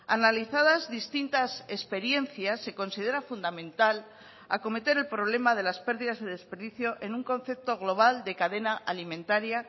analizadas distintas experiencias se considera fundamental acometer el problema de las pérdidas de desperdicio en un concepto global de cadena alimentaria